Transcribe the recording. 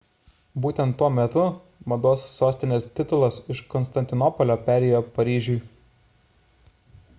būtent tuo metu mados sostinės titulas iš konstantinopolio perėjo paryžiui